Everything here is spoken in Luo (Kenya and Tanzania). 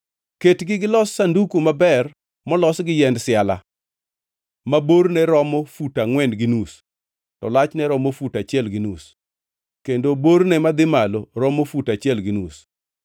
“Ketgi gilos sanduku maber molos gi yiend siala ma borne romo fut angʼwen gi nus to lachne romo fut achiel gi nus kendo borne madhi malo romo fut achiel gi nus.